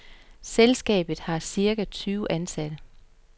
Selskabet har cirka tyve ansatte.